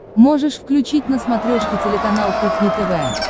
можешь включить на смотрешке телеканал кухня тв